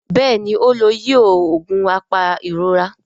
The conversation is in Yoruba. Béèni o ló yíò oògùn apairora.